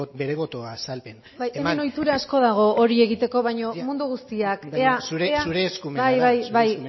bere boto azalpena eman bai hemen ohitura asko dago hori egiteko baina mundu guztiak ea bai zure eskumena bai bai bai